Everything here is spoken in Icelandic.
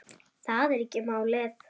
Það er ekki málið.